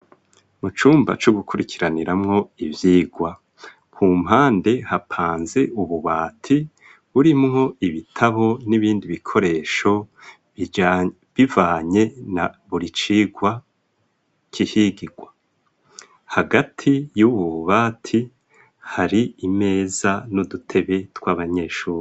Mu cumba co gukurikiraniramwo ivyigwa, ku mpande hapanze ububati burimwo ibitabo n'ibindi bikoresho bivanye na buri cigwa kihigirwa. Hagati y'ububati hari imeza n'udutebe tw'abanyeshuri.